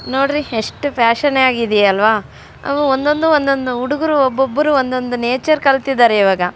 ನೋಡ್ರಿ ಎಸ್ಟ್ ಪ್ಯಾಶನ್ ಆಗಿದೆ ಅಲ್ವಾ ಅದು ಒಂದೊಂದು ಒಂದೊಂದು ಹುಡುಗೂರು ಒಬ್ಬೊಬ್ರು ಒಂದೊಂದು ನೇಚರ್ ಕಲ್ತಿದ್ದರೆ ಇವಾಗ .